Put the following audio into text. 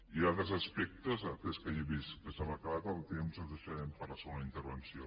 hi ha altres aspectes atès que ja he vist que se m’ha acabat el temps els deixarem per a la segona intervenció